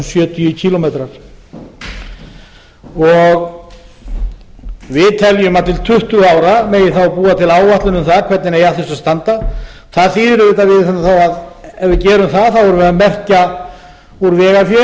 sjötíu kílómetrar við teljum að til tuttugu ára megi þá búa til áætlun um það hvernig eigi að þessu að standa það þýðir auðvitað að ef við gerum það verðum við að merkja úr vegafé eins